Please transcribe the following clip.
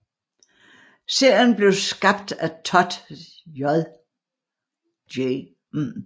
Serien blev skabt af Todd J